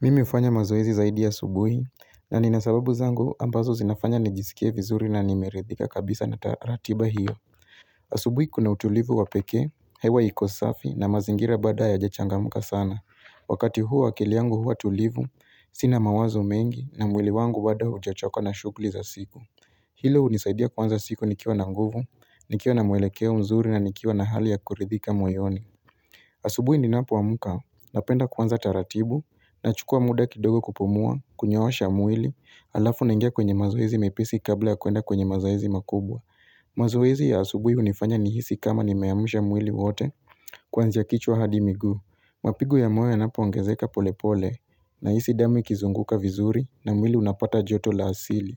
Mimi hufanya mazoezi zaidi asubuhi na nina sababu zangu ambazo zinafanya nijisikie vizuri na nimeridhika kabisa na taratibu hiyo. Asubuhi kuna utulivu wa pekee, hewa iko safi na mazingira bado hayajachangamka sana. Wakati huu akili yangu huwa tulivu, sina mawazo mengi na mwili wangu bado haujachoka na shughli za siku. Hilo hunisaidia kuanza siku nikiwa na nguvu, nikiwa na mwelekeo mzuri na nikiwa na hali ya kuridhika moyoni. Asubui ninapoamka napenda kuanza taratibu nachukua muda kidogo kupumua, kunyoosha mwili, alafu naingia kwenye mazoezi mepesi kabla ya kuenda kwenye mazoezi makubwa. Mazoezi ya asubui hunifanya nihisi kama nimeamsha mwili wote kuanzia kichwa hadi miguu. Mapigo ya moyo yanapoongezeka polepole nahisi damu ikizunguka vizuri na mwili unapata joto la asili.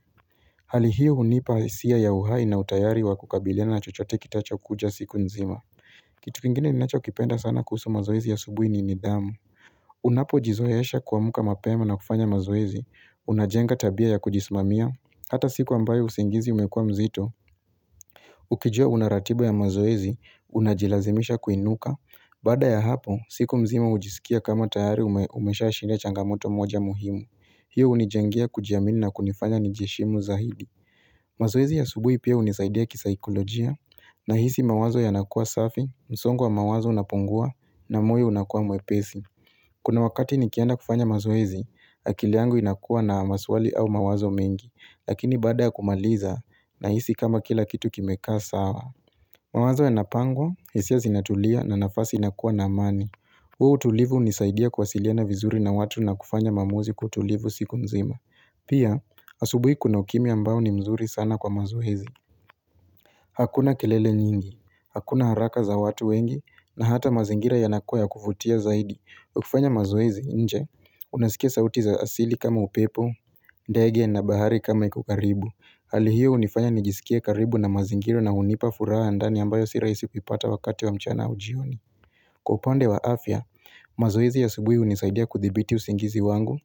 Hali hiyo hunipa hisia ya uhai na utayari wa kukabiliana na chochote kitachokuja siku nzima. Kitu kingine ninachokipenda sana kuhusu mazoezi ya asubuhi ni nidhamu Unapojizoesha kuamka mapema na kufanya mazoezi Unajenga tabia ya kujismamia Hata siku ambayo usingizi umekua mzito Ukijua una ratiba ya mazoezi Unajilazimisha kuinuka Baada ya hapo, siku mzima hujisikia kama tayari umeshashinda changamoto moja muhimu hiyo hunijengea kujiamini na kunifanya nijiheshimu zaidi mazoezi ya asubuhi pia hunisaidia kisaikolojia Nahisi mawazo yanakua safi, msongo wa mawazo unapungua na moyo unakua mwepesi Kuna wakati nikienda kufanya mazoezi, akili yangu inakua na maswali au mawazo mengi Lakini baada ya kumaliza nahisi kama kila kitu kimekaa sawa mawazo yanapangwa, hisia zinatulia na nafasi inakua na amani huo utulivu hunisaidia kuwasiliana vizuri na watu na kufanya maamuzi kwa utulivu siku mzima Pia, asubuhi kuna ukimya ambao ni mzuri sana kwa mazoezi Hakuna kelele nyingi, hakuna haraka za watu wengi, na hata mazingira yanakua ya kuvutia zaidi. Ukifanya mazoezi nje, unasikia sauti za asili kama upepo, ndege na bahari kama iko karibu. Hali hiyo hunifanya nijisikie karibu na mazingira na hunipa furaha ya ndani ambayo si raisi kupata wakati wa mchana au jioni. Kwa upande wa afya, mazoezi ya asubuhi hunisaidia kuthibiti usingizi wangu.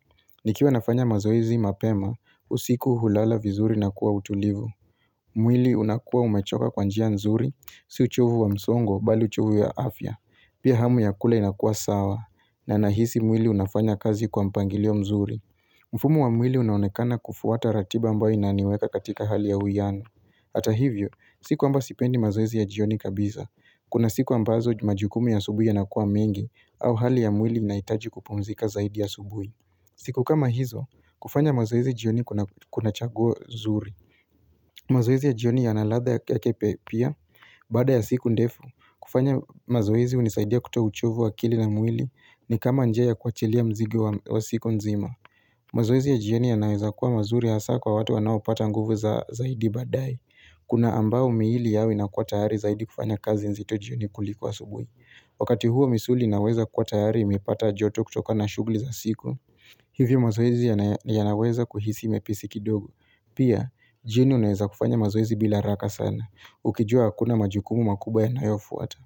Nikiwa nafanya mazoezi mapema, usiku hulala vizuri na kuwa utulivu. Mwili unakua umechoka kwa njia nzuri, si uchovu wa msongo bali uchovu ya afya Pia hamu ya kula inakua sawa, na nahisi mwili unafanya kazi kwa mpangilio mzuri mfumo wa mwili unaonekana kufuata ratiba ambayo inaniweka katika hali ya uwiano Hata hivyo, si kwamba sipendi mazoezi ya jioni kabisa Kuna siku ambazo majukumu ya asubuhi yanakua mengi au hali ya mwili unaitaji kupumzika zaidi asubuhi siku kama hizo, kufanya mazoezi jioni kuna chaguo zuri mazoezi ya jioni yana ladha yake pe pia baada ya siku ndefu. Kufanya mazoezi hunisaidia kutoa uchovu wa akili na mwili ni kama njia ya kuachilia mzigo wa siku nzima. Mazoezi ya jioni yanaweza kuwa mazuri hasaa kwa watu wanaopata nguvu zaidi baadaye. Kuna ambao miili yao inakuwa tayari zaidi kufanya kazi nzito jioni kuliko asubui. Wakati huo misuli inaweza kuwa tayari imepata joto kutokana na shugli za siku Hivyo mazoezi yanaweza kuhisi mepesi kidogo Pia, jioni unaweza kufanya mazoezi bila haraka sana Ukijua hakuna majukumu makubwa yanayofuata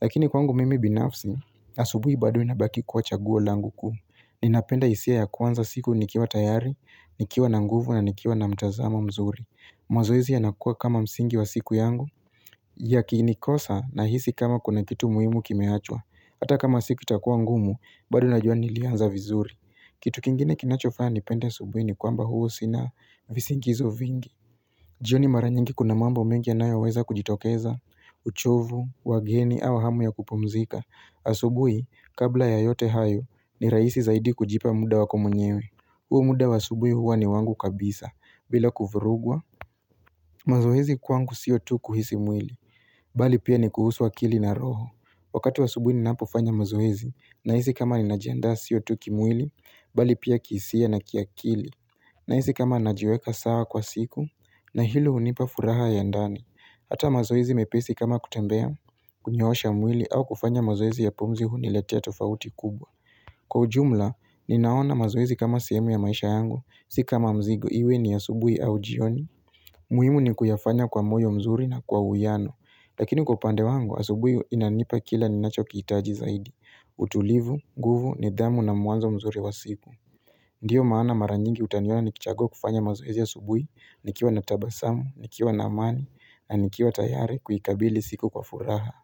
Lakini kwangu mimi binafsi Asubui bado inabaki kuwa chaguo langu kuu Ninapenda hisia ya kuanza siku nikiwa tayari Nikiwa na nguvu na nikiwa na mtazamo mzuri mazoezi yanakuwa kama msingi wa siku yangu Yakinikosa nahisi kama kuna kitu muhimu kimeachwa Hata kama siku itakua ngumu, bado najua nilianza vizuri Kitu kingine kinachofanya nipende asubuhi ni kwamba huwa sina visingizo vingi jioni mara nyingi kuna mambo mengi yanayoweza kujitokeza, uchovu, wageni au hamu ya kupumzika Asubuhi, kabla ya yote hayo, ni rahisi zaidi kujipa muda wako mwenyewe huo muda wa asubuhi huwa ni wangu kabisa, bila kuvurugwa mazoezi kwangu sio tu kuhisi mwili bali pia ni kuhusu akili na roho wakati wa asubuhi ninapofanya mazoezi nahisi kama ninajiandaa sio tu kimwili bali pia kihisia na kiakili nahisi kama najiweka sawa kwa siku na hilo hunipa furaha ya ndani ata mazoezi mepesi kama kutembea kunyoosha mwili au kufanya mazoezi ya pumzi huniletea tofauti kubwa kwa ujumla ninaona mazoezi kama sehemu ya maisha yangu si kama mzigo iwe ni asubuhi au jioni muhimu ni kuyafanya kwa moyo mzuri na kwa uwiano Lakini kwa upande wangu, asubui inanipa kila ninachokiitaji zaidi utulivu, nguvu, nidhamu na mwanzo mzuri wa siku Ndiyo maana mara nyingi utaniona nikichagua kufanya mazoezi asubui Nikiwa na tabasamu, nikiwa na amani, na nikiwa tayari kuikabili siku kwa furaha.